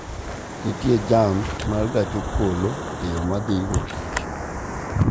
Nitie jam ma gach okoloe yo ma adhigo tich